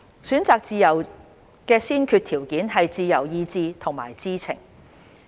選擇自由的先決條件是自由意志和知情。